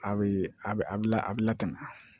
A bɛ a bɛ a bɛ la a bɛ lakana